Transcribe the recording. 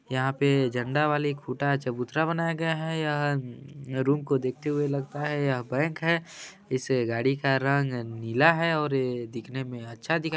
यह पेय झंडा वाले खुटा चबूतरा बनाया गया है यहाँ रूम को देखते हुए लगता है यहाँ बैंक है इससे गाड़ी का रंग नीला है और दिखने में अच्छा दिखाई--